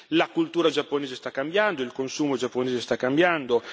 La cultura giapponese sta cambiando, il consumo giapponese sta cambiando.